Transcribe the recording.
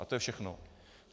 A to je všechno.